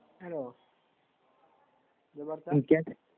hello